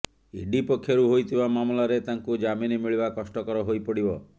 ED ପକ୍ଷରୁ ହୋଇଥିବା ମାମଲାରେ ତାଙ୍କୁ ଜାମିନ ମିଳିବା କଷ୍ଟକର ହୋଇପଡିବ